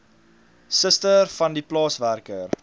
suster vandie plaaswerker